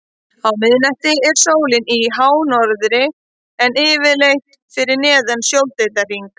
Á miðnætti er sólin í hánorðri en yfirleitt fyrir neðan sjóndeildarhring.